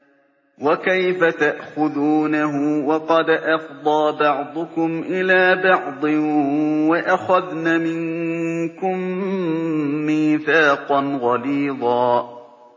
وَكَيْفَ تَأْخُذُونَهُ وَقَدْ أَفْضَىٰ بَعْضُكُمْ إِلَىٰ بَعْضٍ وَأَخَذْنَ مِنكُم مِّيثَاقًا غَلِيظًا